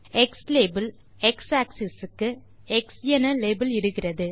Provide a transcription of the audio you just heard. xlabel x axis க்கு X என label இடுகிறது